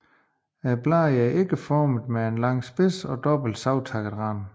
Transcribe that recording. Bladene er ægformede med lang spids og dobbelt savtakket rand